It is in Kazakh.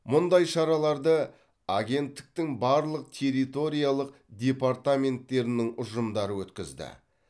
мұндай шараларды агенттіктің барлық территориялық департаменттерінің ұжымдары өткізді